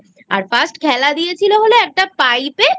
আর First খেলা দিয়েছিল হলএকটা Pipe এ